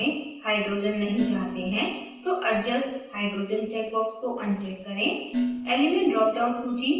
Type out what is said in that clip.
यदि आप संरचना में hydrogens नहीं चाहते है तो adjust hydrogens check box को uncheck करें